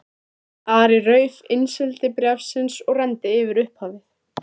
Ari rauf innsigli bréfsins og renndi yfir upphafið.